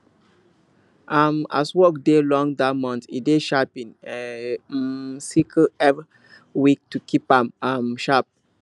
um as work dey long that month e dey sharpen e um sickle every week to keep am um sharp